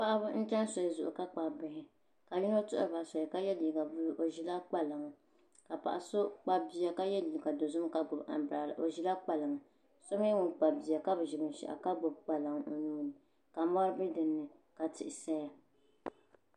Paɣaba n chɛni soli zuɣu ka kpabi bihi ka yino tuhuriba soli o ʒila kpalaŋa ka paɣa so kpabi bia ka yɛ liiga dozim ka gbubi anbirala o ʒila kpalaŋa paɣa n nyɛ ŋun kpabi bia ka bi ʒi binshaɣu ka gbubi kpalaŋ o nuuni ka mɔri bɛ dinni ka tihi saya